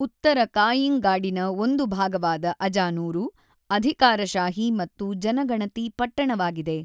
ಉತ್ತರ ಕಾಯ್ಯಿಂಗಾಡಿನ ಒಂದು ಭಾಗವಾದ ಅಜಾನೂರು ಅಧಿಕಾರಶಾಹಿ ಮತ್ತು ಜನಗಣತಿ ಪಟ್ಟಣವಾಗಿದೆ.